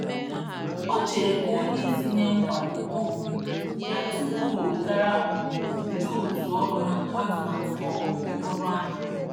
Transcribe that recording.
Ocheere ka onyeisi nye nkwado um ya tupu owegara um ndị otuu ọrụ ha atụmatụ um ọrụ ahụ